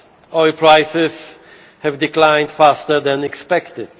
Oil prices have declined faster than expected.